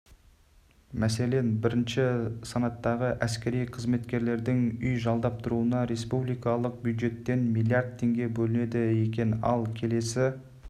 мәселен бірінші санаттағы әскери қызметкерлердің үй жалдап тұруына республикалық бюджеттен миллиард теңге бөлінеді екен ал келесі